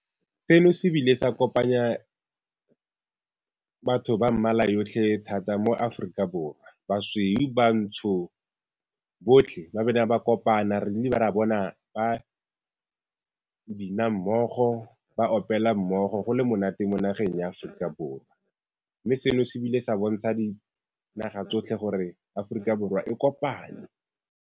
Seno se bile sa kopanya batho ba mmala yotlhe thata mo Aforika Borwa, basweu, bantsho botlhe ba kopana re ra bona ba bina mmogo, ba opela mmogo go le monate mo nageng ya Aforika Borwa, mme seno se bile sa bontsha dinaga tsotlhe gore Aforika Borwa e kopane.